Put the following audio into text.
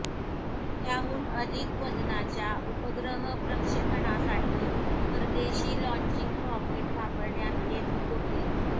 त्याहून अधिक वजनाच्या उपग्रह प्रक्षेपणासाठी परदेशी लाँचिंग रॉकेट वापरण्यात येत होते